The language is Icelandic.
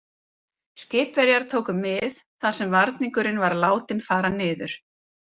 Skipverjar tóku mið þar sem varningurinn var látinn fara niður.